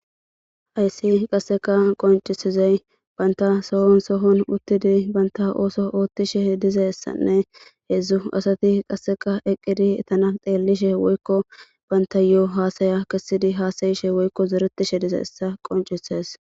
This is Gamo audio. Hayssi qasseka qoncisizey banta sohon sohon uttidi baynta ooso oottishe dizessanne heedzdzu asati qasseka eqqidi etana xeellishe woykko banta yoo haasaya kisidi haasayishe woykko zeretishe dize essa qoncises